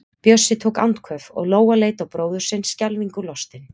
Bjössi tók andköf og Lóa leit á bróður sinn, skelfingu lostin.